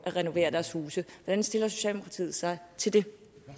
renovere deres huse hvordan stiller socialdemokratiet sig til det